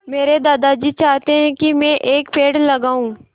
मेरे दादाजी चाहते हैँ की मै एक पेड़ लगाऊ